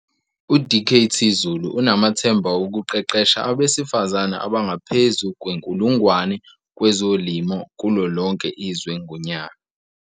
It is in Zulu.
U-Dkt Zulu unamathemba okuqeqesha abesifazane abangaphezu kwe-1 000 kwezolimo kulolonke izwe ngonyaka.